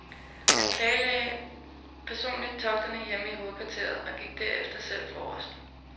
Han planlagde personligt togterne hjemme i hovedkvarteret og gik derefter selv forrest.